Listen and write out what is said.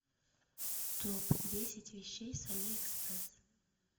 топ десять вещей с алиэкспресс